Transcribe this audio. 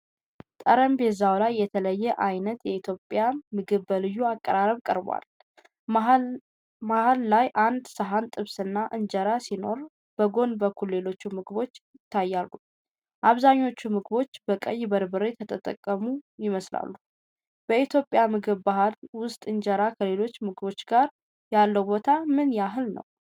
ጠረጴዛው ላይ የተለያየ ዓይነት የኢትዮጵያ ምግብ በልዩ አቀራረብ ቀርቧል። መሃል ላይአንድ ሳህን ጥብስና እንጀራ ሲኖር፣ በጎን በኩልም ሌሎች ምግቦች ይታያሉ. አብዛኞቹ ምግቦች በቀይ በርበሬ የተቀመሙ ይመስላሉ። በኢትዮጵያ የምግብ ባህል ውስጥ እንጀራ ከሌሎች ምግቦች ጋር ያለው ቦታ ምን ያህል ነው?